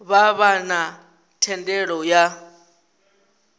vha vha na thendelo ya